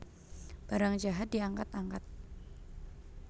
Barang jahat diangkat angkat